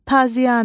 Taziyanə,